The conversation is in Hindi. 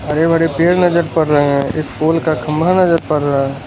बड़े-बड़े पेड़ नजर पड़ रहे हैं एक पोल का खंभा नजर पड़ रहा है।